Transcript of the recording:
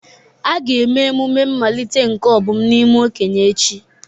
A ga-eme emume mmalite nke Obum n'ime okenye echi.